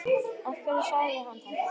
Af hverju sagði hann þetta?